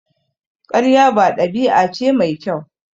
Ƙarya ba ɗabi'a ce mai kyau.